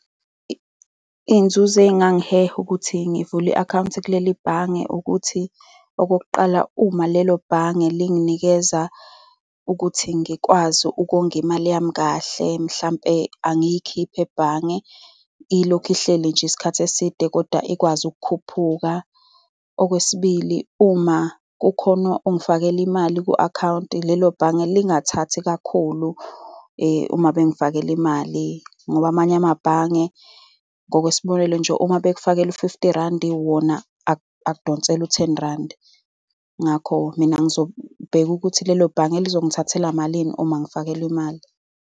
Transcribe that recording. Iy'nzuzo ezingangiheha ukuthi ngivule i-akawunti kuleli bhange, ukuthi okokuqala, uma lelo bhange linginikeza ukuthi ngikwazi ukongimali yami kahle, mhlampe angiyikhiphe ebhange. Ilokhu ihleli nje isikhathi eside, kodwa ikwazi ukukhuphuka. Okwesibili, uma kukhona ongifakele imali ku-akhawunti, lelo bhange lingathathi kakhulu uma bengifakele imali, ngoba amanye amabhange, ngokwesibonelo nje, uma bekufakela u-fifty rand, wona akudonsele u-ten rand. Ngakho, mina ngizobheka ukuthi lelo bhange lizongithathela malini uma ngifakelwa imali.